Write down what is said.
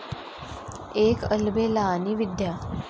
एक अलबेला आणि विद्या...